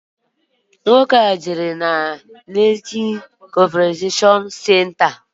Nwoke ahu jere na Lekki Conservation Centre.